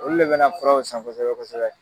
Olu de be na furaw san kosɛbɛ kosɛbɛ.